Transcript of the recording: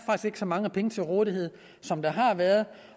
så mange penge til rådighed som der har været